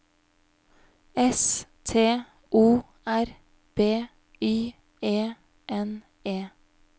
S T O R B Y E N E